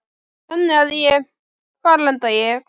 Þannig að ég, hvar enda ég?